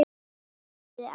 spurði Ásta.